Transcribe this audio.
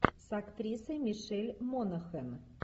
с актрисой мишель монахэн